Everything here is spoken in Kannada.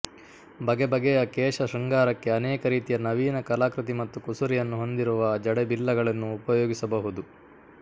ಬಗೆ ಬಗೆಯ ಕೇಶ ಶೃಂಗಾರಕ್ಕೆ ಅನೇಕ ರೀತಿಯ ನವೀನ ಕಲಾಕೃತಿ ಮತ್ತು ಕುಸುರಿಯನ್ನು ಹೊಂದಿರುವ ಜಡೆಬಿಲ್ಲೆಗಳನ್ನು ಉಪಯೋಗಿಸಬಹುದು